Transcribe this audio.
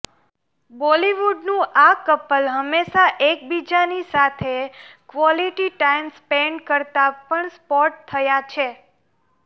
બોલિવુડનું આ કપલ હંમેશા એકબીજાની સાથે ક્વોલિટી ટાઈમ સ્પેન્ડ કરતા પણ સ્પોટ થયા છે